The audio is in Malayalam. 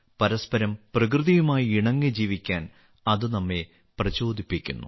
പരസ്പരം പ്രകൃതിയുമായി ഇണങ്ങി ജീവിക്കാൻ അത് നമ്മെ പ്രചോദിപ്പിക്കുന്നു